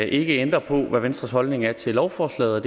ikke ændre på hvad venstres holdning er til lovforslaget og